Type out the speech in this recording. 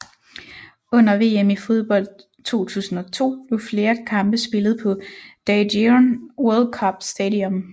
Under VM i fodbold 2002 blev flere kampe spillet på Daejeon World Cup Stadium